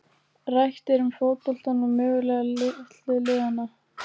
Rætt er um fótboltann og möguleika litlu liðanna.